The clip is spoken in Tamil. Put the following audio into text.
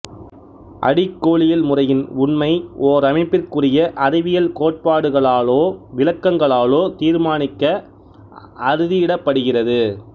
அடிக்கோளியல்முறையின் உண்மை ஓரமைப்பிற்குரிய அறிவியல் கோட்பாடுகளாலோ விளக்கங்களாலோ தீர்மானிக்கப் அறுதியிடப்படுகிறது